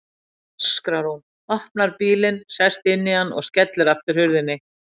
öskrar hún, opnar bílinn, sest inn í hann og skellir aftur hurðinni.